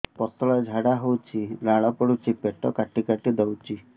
ପତଳା ଝାଡା ହଉଛି ଲାଳ ପଡୁଛି ପେଟ କାଟି କାଟି ଦଉଚି